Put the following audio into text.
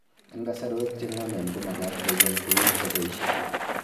Eng' kasarwek che ng'omen ko magat kecheng' tuguk che poishe